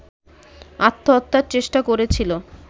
আত্মহত্যার চেষ্টা করেছিল